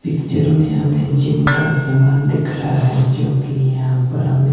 picture में हमें gym का सामान दिख रहा है जो कि यहां पर हमें--